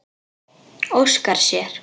Óskar sér.